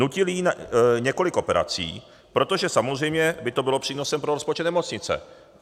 Nutili jí několik operací, protože samozřejmě by to bylo přínosem pro rozpočet nemocnice.